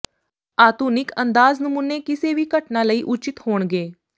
ਆਧੁਨਿਕ ਅੰਦਾਜ਼ ਨਮੂਨੇ ਕਿਸੇ ਵੀ ਘਟਨਾ ਲਈ ਉਚਿਤ ਹੋਣਗੇ